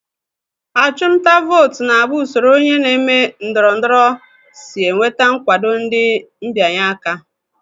Achụmnta vootu na-abụ usoro onye na-eme ndọrọndọrọ si enweta nkwado ndị mbịanye aka